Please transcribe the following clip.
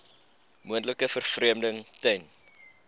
moontlike vervreemding ten